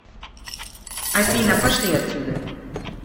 афина пошли отсюда